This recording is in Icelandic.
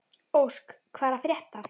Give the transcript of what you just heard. Ósk, hvað er að frétta?